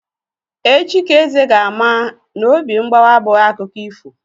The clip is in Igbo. Echi ka Eze ga-ama na obi mgbawa abụghị akụkọ ifo.